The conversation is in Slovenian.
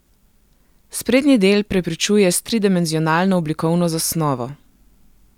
Sprednji del prepričuje s tridimenzionalno oblikovno zasnovo.